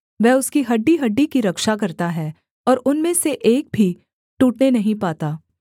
वह उसकी हड्डीहड्डी की रक्षा करता है और उनमें से एक भी टूटने नहीं पाता